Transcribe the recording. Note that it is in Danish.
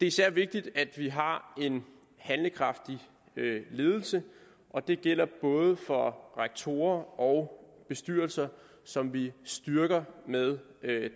især vigtigt at vi har en handlekraftig ledelse og det gælder både for rektorer og bestyrelser som vi styrker med